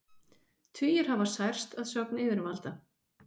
Tugir hafa særst að sögn yfirvalda